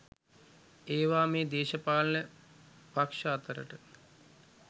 ඒවා මේ දේශපාලන පක්ෂ අතරට